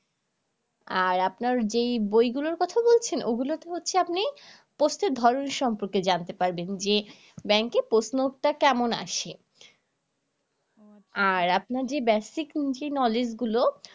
আর আপনার যেই বইগুলোর কথা বলছেন ওইগুলা তে হচ্ছে আপনি প্রশ্নের ধরন সম্পর্কে জানতে পারবেন যে ব্যাংকের প্রশ্ন টা কেমন আসে আর আপনার যে basic যে knowledge গুলো